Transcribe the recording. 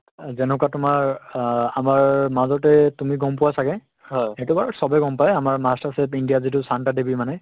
যেনেকুৱা তোমাৰ অ আমাৰ মাজতে তুমি গম পোৱা ছাগে সেইটো বাৰু চবে গম পাই আমাৰ masterchef india ত যিটো ছান্তা দেৱীয়ে মানে